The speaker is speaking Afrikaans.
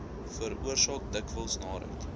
veroorsaak dikwels naarheid